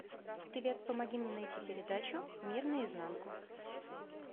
привет помоги мне найти передачу мир на изнанку